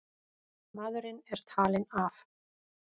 Maðurinn er talinn af.